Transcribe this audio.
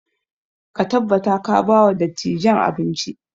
Ka tabbata ka ba wa dattijan abinci!